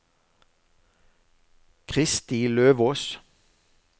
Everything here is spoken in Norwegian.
Kristi Løvås